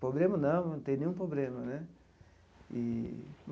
Problema não, não tem nenhum problema né eee.